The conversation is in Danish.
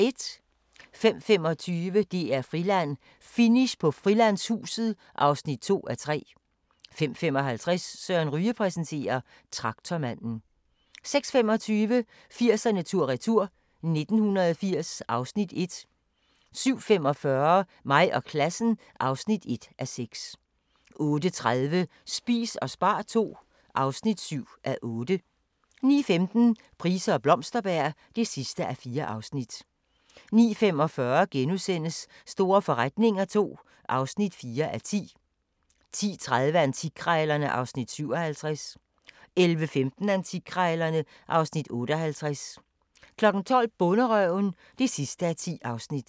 05:25: DR-Friland: Finish på Frilandshuset (2:3) 05:55: Søren Ryge præsenterer: Traktormanden 06:25: 80'erne tur-retur: 1980 (Afs. 1) 07:45: Mig og klassen (1:6) 08:30: Spis og spar II (7:8) 09:15: Price og Blomsterberg (4:4) 09:45: Store forretninger II (4:10)* 10:30: Antikkrejlerne (Afs. 57) 11:15: Antikkrejlerne (Afs. 58) 12:00: Bonderøven (10:10)